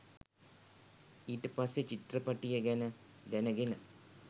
ඊට පස්සෙ චිත්‍රපටිය ගැන දැනගෙන